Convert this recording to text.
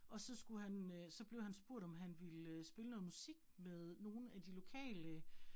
Og så skulle han øh, så blev han spurgt, om han ville spille noget musik med nogle af de lokale